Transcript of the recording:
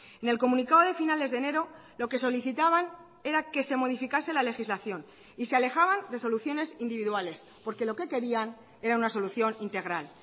en el comunicado de finales de enero lo que solicitaban era que se modificase la legislación y se alejaban de soluciones individuales porque lo que querían era una solución integral